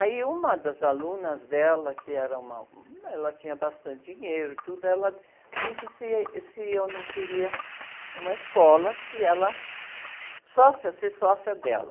Aí, uma das alunas dela, que era uma... Ela tinha bastante dinheiro e tudo, ela disse, se se eu não queria uma escola, que ela... Sócia, ser sócia dela.